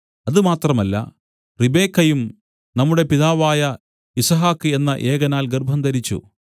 അതുമാത്രമല്ല റിബെക്കായും നമ്മുടെ പിതാവായ യിസ്ഹാക്ക് എന്ന ഏകനാൽ ഗർഭംധരിച്ചു